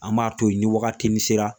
An b'a to yen ni wagati min sera.